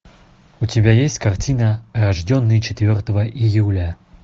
у тебя есть картина рожденный четвертого июля